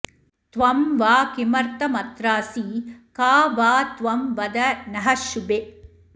त्वं वा किमर्थमत्रासि का वा त्वं वद नः शुभे